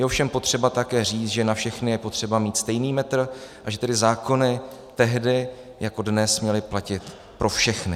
Je ovšem potřeba také říct, že na všechny je potřeba mít stejný metr, a že tedy zákony tehdy jako dnes měly platit pro všechny.